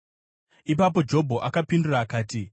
Ipapo Jobho akapindura akati: